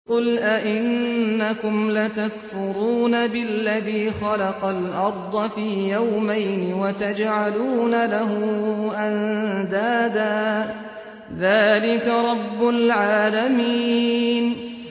۞ قُلْ أَئِنَّكُمْ لَتَكْفُرُونَ بِالَّذِي خَلَقَ الْأَرْضَ فِي يَوْمَيْنِ وَتَجْعَلُونَ لَهُ أَندَادًا ۚ ذَٰلِكَ رَبُّ الْعَالَمِينَ